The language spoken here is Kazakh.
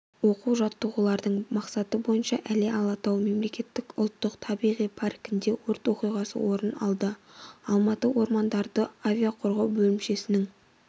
оқу-жаттығулардың мақсаты бойынша іле-алатау мемлекеттік ұлттық табиғи паркінде өрт оқиғасы орын алды алматы ормандарды авиа-қорғау бөлімшесінің